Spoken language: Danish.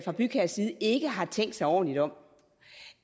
og bygherres side ikke har tænkt sig ordentligt om